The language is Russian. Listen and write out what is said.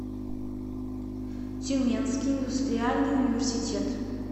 тюменский индустриальный университет